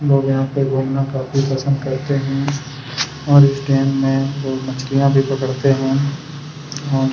लोग यहाँ पे घूमने काफी पसंद करते हैं और इस डैम में लोग मछलिया भी पकड़ते हैं और--